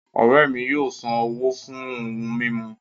Ọ̀rẹ́ mi yóò ṣán owó fún ohun mimú